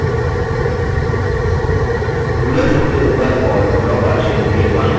ruler सबसे ऊपर और draw कार्यक्षेत्र के बायीं ओर प्रदर्शित होता है